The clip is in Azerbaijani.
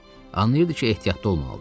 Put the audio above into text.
Anlayırdı ki, ehtiyatlı olmalıdır.